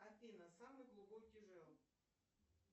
афина самый глубокий жерл